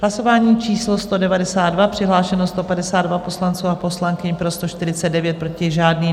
Hlasování číslo 192, přihlášeno 152 poslanců a poslankyň, pro 149, proti žádný.